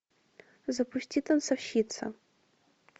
запусти танцовщица